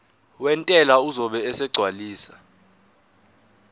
wentela uzobe esegcwalisa